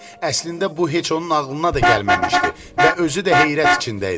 Əslində bu heç onun ağlına da gəlməmişdi və özü də heyrət içində idi.